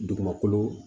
Dugumakolo